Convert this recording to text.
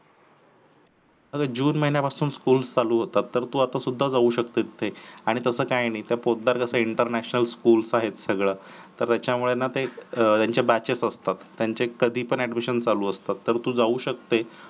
जून महिन्यापासून school चालू होतात तर तू आता सुद्धा जाऊ शकते आणि तसं काय नाहे पोतदार international school तर हेचा त्याच्यामुळे ना त्यांचे बॅचेस असतात आणि तू कधी पण जाऊ शकतेस